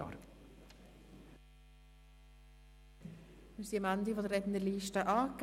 Wir sind am Ende der Rednerliste angelangt.